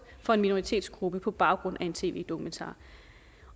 for en minoritetsgruppe på baggrund af en tv dokumentar